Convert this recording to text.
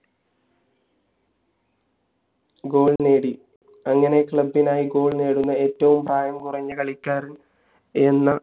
നേടി അങ്ങനെ club നായി goal നേടുന്ന ഏറ്റവും പ്രായം കുറഞ്ഞ കളിക്കാരൻ എന്ന